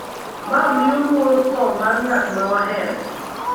ma miyo luor tho mar ng’at ma wahero.